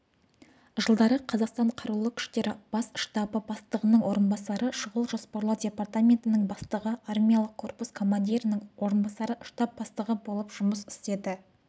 жылдары қазақстан қарулы күштері бас штабы бастығының орынбасары шұғыл жоспарлау департаментінің бастығы армиялық корпус командирінің орынбасары штаб бастығы болып жұмыс істеді